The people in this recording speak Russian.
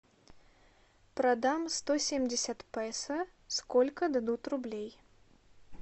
продам сто семьдесят песо сколько дадут рублей